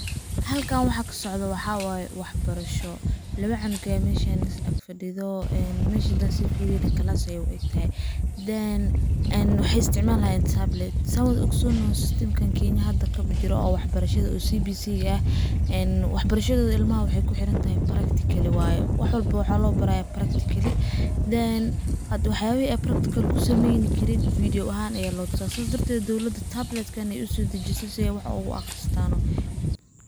Halkan waxa ka socdo waxa waye wax barasho ,lawa canug ayaa meshaan is ag fadhido ,oo een mesha hadaan sii firiyo nah class ayey u egtahay . Then waxey isticmalayaan tablet oo ogsonnoho system kan kenya hadda ka jiro oo wax barashada eh oo CBC ga ah ,een wax barashadooda ilmaha waxey ku xiran tahay waxa waye practically waye ,wax walbo waxa loo barayaa practically ,then wax yabihi ay practical ku sameyni karin ,video ahaan ayaa loo tusaa sidaas darteed ,dowladda tablet kaa ayey usoo dajisay si ay wax ugu bartaan oo wax ogu aqristaano.